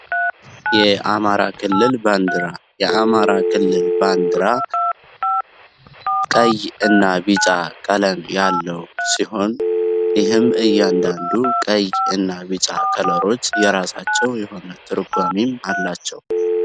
የአማራ ክልል ባንዲራ የአማራ ክልል ባንዲራ ቀይናነ እና ቢጫ ቀለም ያለው ሲሆን ይህም እያንዳንዱ ቀይ እና ቢጫ ከለሮች የራሳቸው የሆነ ትርጓሜም አላቸው።